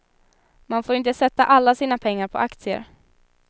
Man får inte sätta alla sina pengar på aktier.